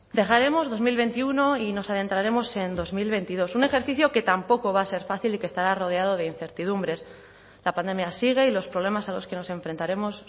dejaremos dos mil veintiuno y nos adentraremos en dos mil veintidós un ejercicio que tampoco va a ser fácil y que estará rodeado de incertidumbres la pandemia sigue y los problemas a los que nos enfrentaremos